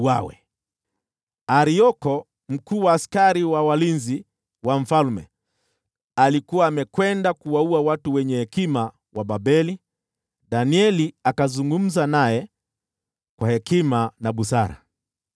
Wakati Arioko, mkuu wa askari wa walinzi wa mfalme, alikuwa amekwenda kuwaua watu wenye hekima wa Babeli, Danieli akazungumza naye kwa hekima na busara.